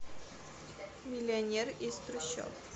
миллионер из трущоб